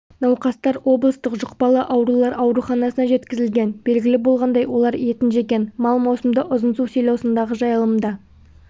науқастар облыстық жұқпалы аурулар ауруханасына жеткізілген белгілі болғандай олар етін жеген мал маусымда ұзынсу селосындағы жайылымда